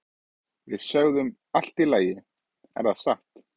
Við sögðum Allt í lagi, er þetta satt?